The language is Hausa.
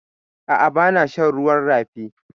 A'a, bana shan ruwan rafi.